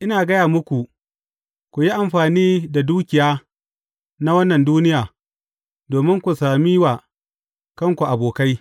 Ina gaya muku, ku yi amfani da dukiya na wannan duniya, domin ku sami wa kanku abokai.